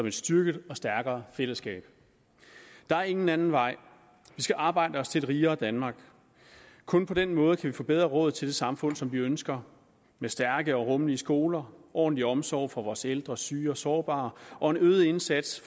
et styrket og stærkere fællesskab der er ingen anden vej vi skal arbejde os til et rigere danmark kun på den måde kan vi få bedre råd til det samfund som vi ønsker med stærke og rummelige skoler ordentlig omsorg for vores ældre syge og sårbare og en øget indsats